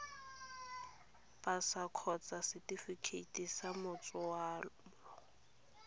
pasa kgotsa setefikeiti sa matsalo